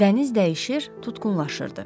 Dəniz dəyişir, tutqunlaşırdı.